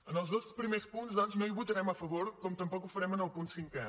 en els dos primers punts doncs no hi votarem a favor com tampoc ho farem en el punt cinquè